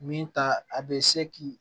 Min ta a bɛ se k'i